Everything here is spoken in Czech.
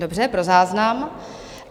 Dobře, pro záznam.